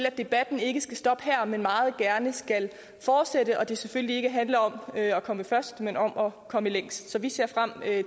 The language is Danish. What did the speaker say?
at debatten ikke skal stoppe her men meget gerne skal fortsætte og at det selvfølgelig ikke handler om at komme først men om at komme længst så vi ser frem